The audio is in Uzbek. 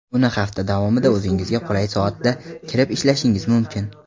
uni hafta davomida o‘zingizga qulay soatda kirib ishlashingiz mumkin.